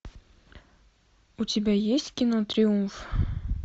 у тебя есть кино триумф